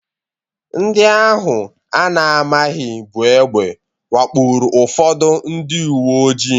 Ndị ahụ a na-amaghị buu egbe wakporo ụfọdụ ndị uwe ojii.